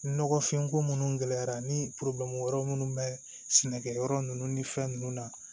Nɔgɔfinko minnu gɛlɛyara ni yɔrɔ minnu bɛ sɛnɛkɛ yɔrɔ ninnu ni fɛn ninnu na